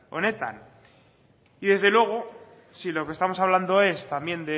honetan y desde luego si lo que estamos hablando es también